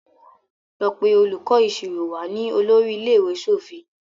Lọ pé olùkó ìṣirò wá! ní olórí ilé-ìwé sọfún.